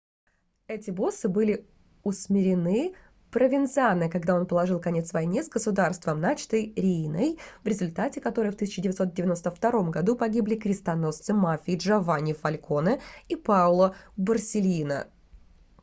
эти боссы были усмирены провензано когда он положил конец войне с государством начатой рииной в результате которой в 1992 году погибли крестоносцы мафии джованни фальконе и паоло борсельино